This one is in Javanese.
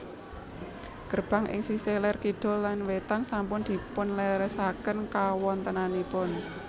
Gerbang ing sisih lèr kidul lan wetan sampun dipunleresaken kawontenanipun